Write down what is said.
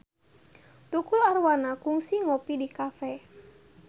Tukul Arwana kungsi ngopi di cafe